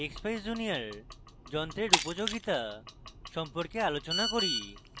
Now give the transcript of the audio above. expeyes junior যন্ত্রের উপযোগিতা সম্পর্কে আলোচনা করি